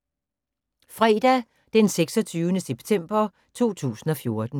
Fredag d. 26. september 2014